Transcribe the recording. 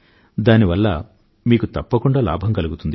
దాని వల్ల మీకు తప్పకుండా లాభం కలుగుతుంది